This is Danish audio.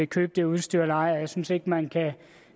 købe det udstyr eller ej jeg synes ikke man kan